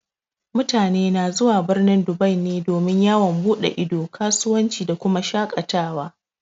Mutane na zuwa birnin Dubai ne domin yawon buɗe ido, kasuwanci da kuma shaƙatawa.